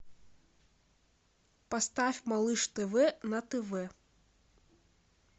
поставь малыш тв на тв